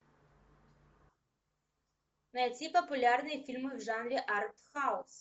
найти популярные фильмы в жанре артхаус